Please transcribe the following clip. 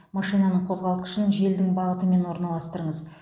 машинаның қозғалтқышын желдің бағытымен орналастырыңыз